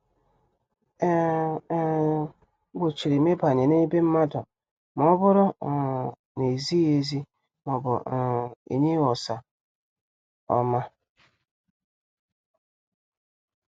E um E um gbochirim ịbanye n' be mmadụ ma ọbụrụ um na- ezighị ezi maọbụ um enyeghi usa ọma.